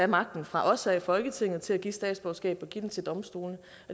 magten fra os her i folketinget til at give statsborgerskab og give den til domstolene